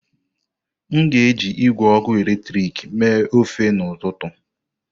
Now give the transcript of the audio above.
M ga-eji igwe ọkụ eletrik mee ofe n'ụtụtụ.